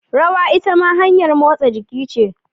Rawa itama hanyar motsa jiki ce.